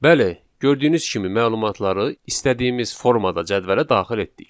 Bəli, gördüyünüz kimi məlumatları istədiyimiz formada cədvələ daxil etdik.